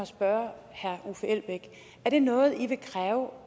spørge herre uffe elbæk er det noget i vil kræve